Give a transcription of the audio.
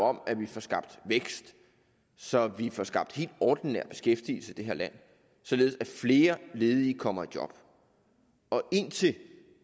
om at vi får skabt vækst så vi får skabt helt ordinær beskæftigelse i det her land således at flere ledige kommer i job indtil